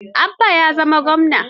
Abba ya zama gwamna.